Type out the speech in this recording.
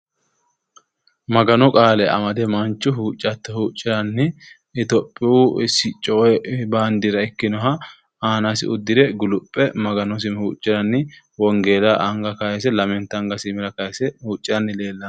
Maganu qaale amade manchu huuccatto huucciranni Itophiyu sicco woyi baandiira ikkinoha aanasi uddire guluphe maganosi huucciranni wongeella anga kayise lamenta angasi iimira kayise huucciranni leellanno.